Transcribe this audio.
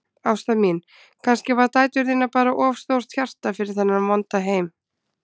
Ásta mín, kannski hafa dætur þínar bara of stórt hjarta fyrir þennan vonda heim.